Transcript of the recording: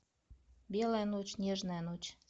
белая ночь нежная ночь